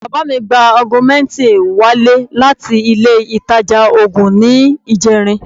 Bàbá mi gba augmentin wálé láti ile ìtajà oògùn ní ìjẹrin